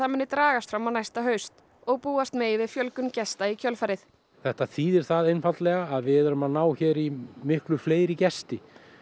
muni dragast fram á næsta haust og búast megi við fjölgun gesta í kjölfarið þetta þýðir það einfaldlega að við erum að ná hér í miklu fleiri gesti